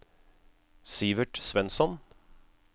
Sivert Svensson